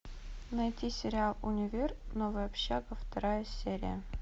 найти сериал универ новая общага вторая серия